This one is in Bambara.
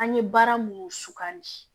An ye baara mun sukan de